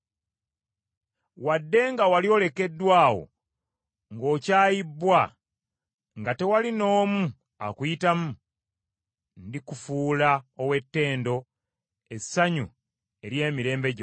“Wadde nga wali olekeddwa awo ng’okyayibbwa, nga tewali n’omu akuyitamu, ndikufuula ow’ettendo, essanyu ery’emirembe gyonna.